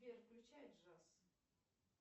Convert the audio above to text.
сбер включай джаз